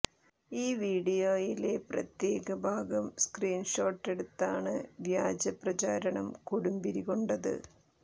ഈ വീഡിയോയിലെ പ്രത്യേക ഭാഗം സ്ക്രീന് ഷോട്ടെടുത്താണ് വ്യാജ പ്രചാരണം കൊടുമ്പിരി കൊണ്ടത്